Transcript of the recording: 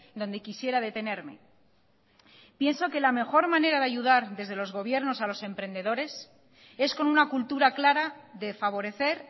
donde quisiera detenerme pienso que la mejor manera de ayudar desde los gobiernos a los emprendedores es con una cultura clara de favorecer